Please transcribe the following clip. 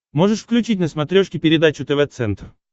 можешь включить на смотрешке передачу тв центр